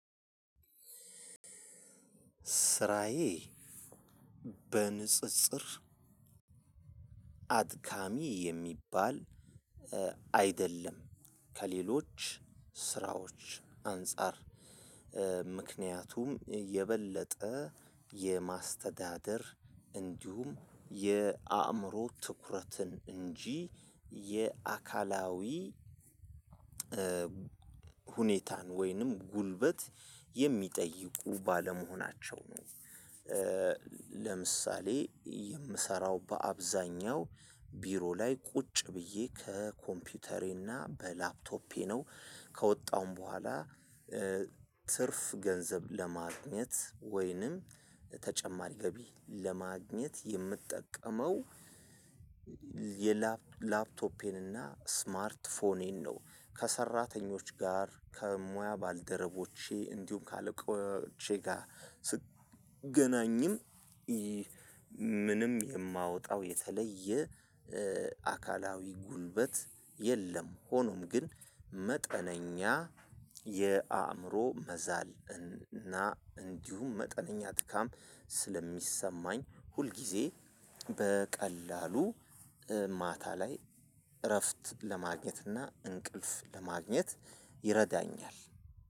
ስራዬ በንጽጽር አድካሚ የሚባል አይደለም፤ ከሌሎች ስራዎች አንፃር ምክንያቱም የበለጠ የማስተዳደር እንዲሁም የአእምሮ ትኩረትን እንጂ የአካላዊ ሁኔታን ወይንም ጉልበት የሚጠይቁ ባለመሆናቸው ነው። ለምሳሌ የምሰራው በአብዛኛው ቢሮ ላይ ቁጭ ብዬ ከኮምፒውተሬና በላፕቶፔ ነው። ከወጣሁም በኋላ ትርፍ ገንዘብ ለማግኘት ወይንም ተጨማሪ ገቢ ለማግኘት የምጠቀመው የላፕቶፔን እና ስማርት ፎኔን ነው። ከሰራተኞች ጋር ከሙያ ባልደረቦቼ እንዲሁም ከአለቆቼ ጋር ስገናኝም ምንም የማወጣው የተለየ አካላዊ ጉልበት የለም። ሆኖም ግን መጠነኛ የአእምሮ መዛል እና እንዲሁም መጠነኛ ድካም ስለሚሰማኝ ሁልጊዜ በቀላሉ ማታ ላይ እረፍት ለማግኘት እና እንቅልፍ ለማግኘት ይረዳኛል።